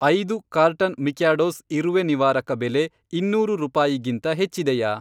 ಐದು carton Mikados ಇರುವೆ ನಿವಾರಕ ಬೆಲೆ ಇನ್ನೂರು ರೂಪಾಯಿಗಿಂತ ಹೆಚ್ಚಿದೆಯಾ?